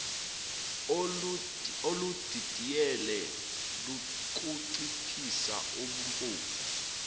oludidiyele lokunciphisa ubuphofu